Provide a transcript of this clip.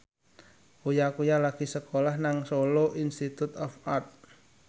Uya Kuya lagi sekolah nang Solo Institute of Art